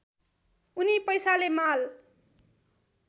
उनी पैसाले माल